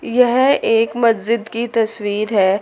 यह एक मस्जिद की तस्वीर है।